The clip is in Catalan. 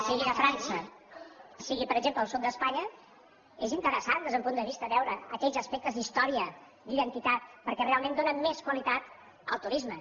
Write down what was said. sigui a frança sigui per exemple al sud d’espanya és interessant des d’un punt de vista veure aquells aspectes d’història d’identitat perquè realment donen més qualitat al turisme